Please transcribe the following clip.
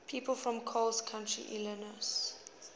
people from coles county illinois